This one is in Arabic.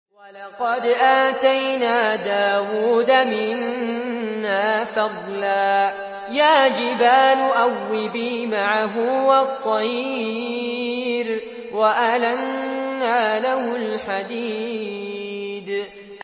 ۞ وَلَقَدْ آتَيْنَا دَاوُودَ مِنَّا فَضْلًا ۖ يَا جِبَالُ أَوِّبِي مَعَهُ وَالطَّيْرَ ۖ وَأَلَنَّا لَهُ الْحَدِيدَ